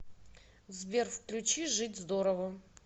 сбер включи жить здорово